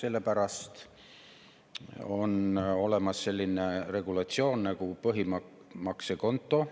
Sellepärast on olemas selline regulatsioon nagu põhimaksekonto regulatsioon.